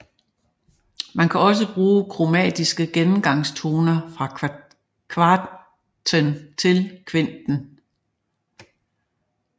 Man kan også bruge kromatiske gennemgangstoner fra kvarten til kvinten